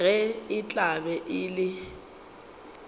ge e tla be e